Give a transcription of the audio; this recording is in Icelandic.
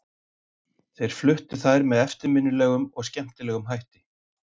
Þeir fluttu þær með eftirminnilegum og skemmtilegum hætti.